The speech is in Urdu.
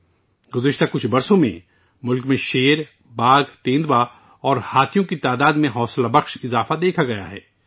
پچھلے کچھ برسوں میں ملک میں شیروں، شیروں، چیتوں اور ہاتھیوں کی تعداد میں حوصلہ افزا اضافہ دیکھا گیا ہے